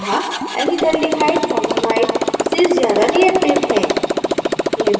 अतः acetaldehydeformamide से ज़्यादा reactive है